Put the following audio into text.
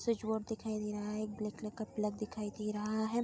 Switchboard दिखाई दे रहा है एक ब्लैक कलर का प्लग दिखाई दे रहा है।